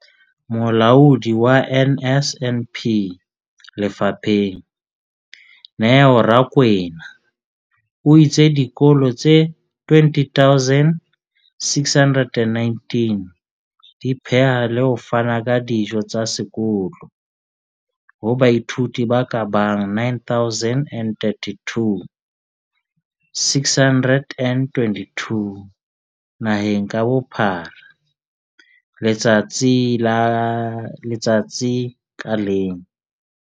Molaodi wa NSNP lefapheng, Neo Rakwena, o itse dikolo tse 20 619 di pheha le ho fana ka dijo tsa sekolo ho baithuti ba ka bang 9 032 622 naheng ka bophara letsatsi ka leng.